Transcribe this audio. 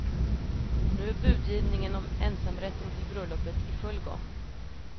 Nu är budgivningen om ensamrätten till bröllopet i full gång.